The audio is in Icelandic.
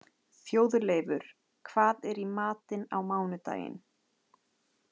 Þjóðleifur, hvað er í matinn á mánudaginn?